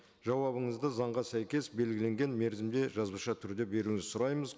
жауабыңызды заңға сәйкес белгіленген мерзімде жазбаша түрде беруіңізді сұраймыз